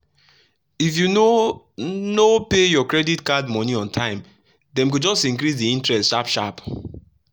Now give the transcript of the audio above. if you no no pay your credit card money on time dem go just increase the interest sharp sharp.